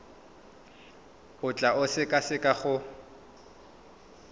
o tla e sekaseka go